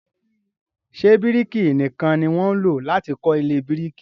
Ṣé bíríkì nìkan ni wọ́n ń lọ láti kọ́ ilé oníbíríkì.